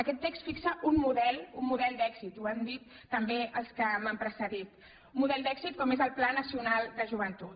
aquest text fixa un model un model d’èxit ho han dit també els que m’han precedit un model d’èxit com és el pla nacional de joventut